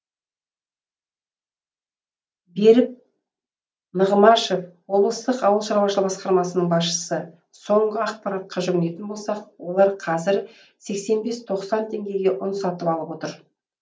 берік нығмашев облыстық ауыл шаруашылығы басқармасының басшысы соңғы ақпаратқа жүгінетін болсақ олар қазір сексен бес тоқсан теңгеге ұн сатып алып отыр